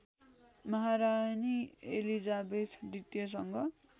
Maharani Elizabeth द्वितीयसँग